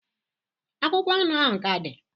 akwụkwọ anụ ahụ ka dị?